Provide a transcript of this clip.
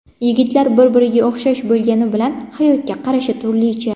Yigitlar bir-biriga o‘xshash bo‘lgani bilan, hayotga qarashi turlicha.